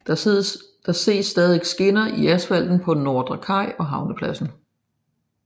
Der ses stadig skinner i asfalten på Nordre Kaj og Havnepladsen